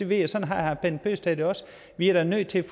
ved at sådan har herre bent bøgsted det også vi er da nødt til